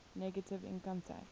negative income tax